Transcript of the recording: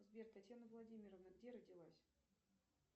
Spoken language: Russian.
сбер татьяна владимировна где родилась